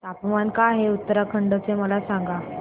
तापमान काय आहे उत्तराखंड चे मला सांगा